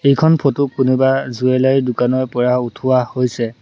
এইখন ফটো কোনোবা জুৱেলেৰী দোকানৰ পৰা উঠোৱা হৈছে।